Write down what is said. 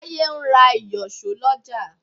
Táyé ń ra ìyọ̀ṣó lọ́jà.